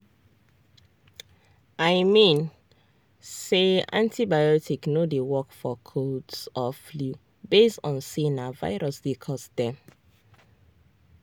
i mean say antibiotics no dey work for colds or flu base on say na virus dey cause dem.